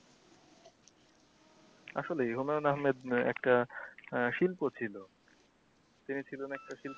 আসলে হুমায়ুন আহমেদ একটা আহ শিল্প ছিল তিন ছিলেন একটা,